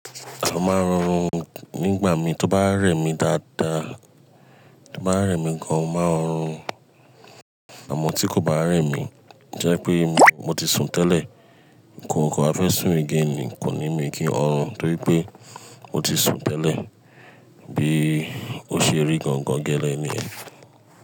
À máa ń horun nígbàmi tí ó bá rè mí dáadáa, tó bá rè mí gan-an, mo máa ń horun, àmọ́ tí kò bá rè mí, tó jẹ́ pé mo ti sun tẹ́lẹ̀, ǹkó ni kò á fẹ́ sùn again ní, kò ní mi kí han ọ̀run, torí pé mo ti sun tẹ́lẹ̀, bí ó ṣe rí gangan gẹ́lẹ́ ni.